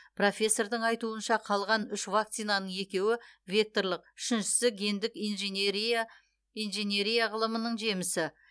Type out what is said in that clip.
профессордың айтуынша қалған үш вакцинаның екеуі векторлық үшіншісі гендік инженерия ғылымының жемісі